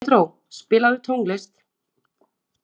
Pedró, spilaðu tónlist.